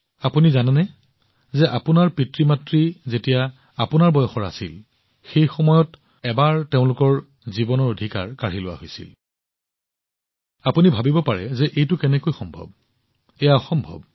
আপোনালোকে জানেনে যে আপোনালোকৰ পিতৃমাতৃৰ আপোনাৰ বয়সৰ সময়ত তেওঁলোকৰ পৰা জীৱনৰ অধিকাৰ কাঢ়ি লোৱা হৈছিল আপোনালোকে ভাবিব পাৰে যে এইটো কেনেকৈ হব পাৰে এইটো অসম্ভৱ